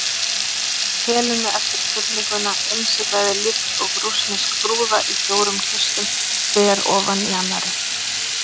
Helenu eftir krufninguna, innsiglað líkt og rússnesk brúða í fjórum kistum, hver ofan í annarri.